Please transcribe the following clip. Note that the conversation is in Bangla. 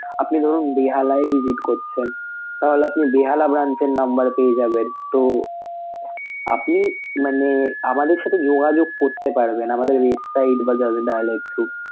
আপনি ধরুন বেহালায় visit করছেন তাহলে আপনি বেহালা branch এর number পেয়ে যাবেন তো আপনি মানে আমাদের সাথে যোগাযোগ করতে পারবেন আমাদের website বা just dial এর through.